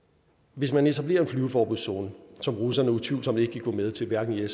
hvis man etablerer en flyveforbudszone som russerne utvivlsomt ikke vil gå med til hverken i